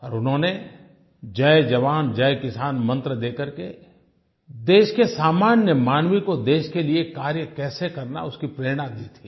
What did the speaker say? और उन्होंने जय जवान जय किसान मंत्र देकर के देश के सामान्य मानव को देश के लिए कार्य कैसे करना है उसकी प्रेरणा दी थी